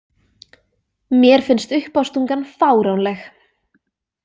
Mér finnst uppástungan fáránleg.